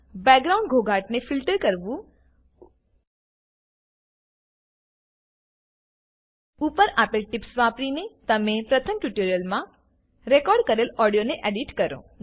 background ઘોંઘાટને filter કરવું ઉપર આપેલ ટિપ્સ વાપરીને તમે પ્રથમ ટ્યુટોરીયલમાં રેકોર્ડ કરેલ ઓડિયોને એડીટ કરો